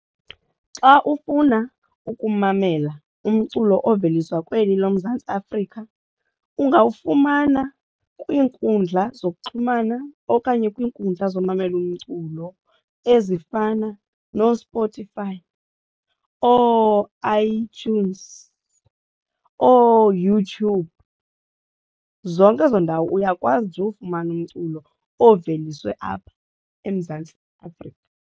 Xa ufuna ukumamela umculo oveliswa kweli loMzantsi Afrika ungawufumana kwiinkundla zokuxhumana okanye kwiinkundla zomamela umculo ezifana nooSpotify, ooiTunes, ooYouTube, zonke ezo ndawo uyakwazi nje uwufumana umculo oveliswe apha eMzantsi Afrika.